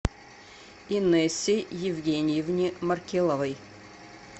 инессе евгеньевне маркеловой